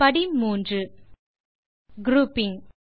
step 3 grouping